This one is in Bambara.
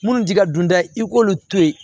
Minnu t'i ka dunta ye i k'olu to ye